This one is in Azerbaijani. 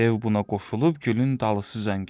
Dev buna qoşulub gülün dalısıca getdi.